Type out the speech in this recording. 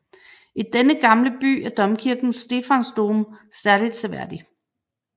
I denne gamle by er domkirken Stephansdom særligt seværdig